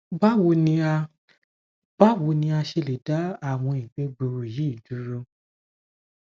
bawo ni a bawo ni a ṣe le da awọn igbe gbuuru yi duro